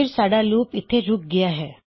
ਫਿਰ ਸਾਡਾ ਲੂਪ ਇਥੇ ਰੁਕ ਗਿਆ ਹੈ